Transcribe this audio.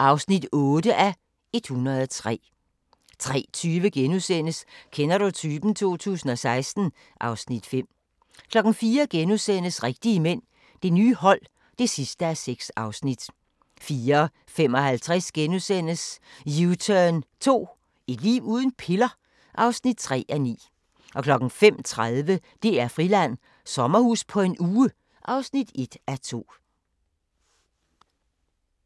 (8:103)* 03:20: Kender du typen? 2016 (Afs. 5)* 04:00: Rigtige mænd – det nye hold (6:6)* 04:55: U-turn 2 – et liv uden piller? (3:9)* 05:30: DR-Friland: Sommerhus på en uge (1:2)